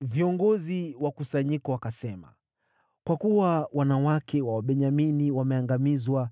Viongozi wa kusanyiko wakasema, “Kwa kuwa wanawake wa Wabenyamini wameangamizwa,